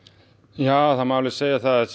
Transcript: já það má segja það